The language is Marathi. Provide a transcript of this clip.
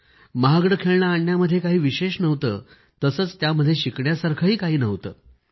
महागडे खेळणे आणण्यामध्ये काही विशेष नव्हते तसंच त्यामध्ये शिकण्यासारखंही काही नव्हतं